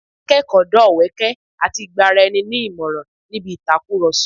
A máa ń kọ́ ẹ̀kọ́, dá ọ̀wẹ́kẹ̀ àti gba ara ẹni ní ìmọràn níbi ìtàkùrọ̀sọ